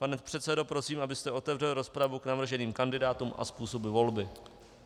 Pane předsedo, prosím, abyste otevřel rozpravu k navrženým kandidátům a způsobu volby.